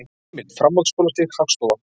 Heimild: Framhaldsskólastig- Hagstofa.